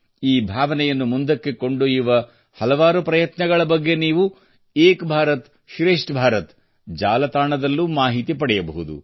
ಈ ಭಾವನೆಯನ್ನು ಮುಂದಕ್ಕೆ ಕೊಂಡೊಯ್ಯುವ ಹಲವಾರು ಪ್ರಯತ್ನಗಳ ಬಗ್ಗೆ ನೀವು ಏಕ್ ಭಾರತ್ ಶ್ರೇಷ್ಠ ಭಾರತ್ ಜಾಲತಾಣದಲ್ಲೂ ಮಾಹಿತಿ ಪಡೆಯಬಹುದು